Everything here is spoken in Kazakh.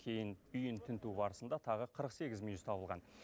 кейін үйін тінту барысында тағы қырық сегіз мүйіз табылған